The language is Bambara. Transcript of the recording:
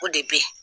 O de bɛ yen